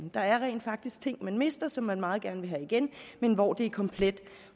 der er rent faktisk ting man mister som man meget gerne vil have igen men hvor det er komplet